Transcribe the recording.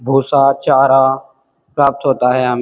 भूसा चारा प्राप्त होता है हम --